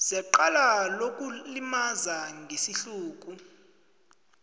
secala lokulimaza ngesihluku